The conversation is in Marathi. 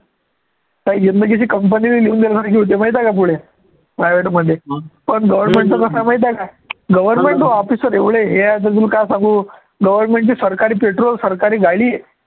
जिंदगीची company ने लिहून दिलं माहिती आहे का पुढे private मध्ये पण government चं कसं आहे माहित आहे का government चे officer एवढे हे आहे तुले काय सांगू government चे सरकारी petrol सरकारी गाडी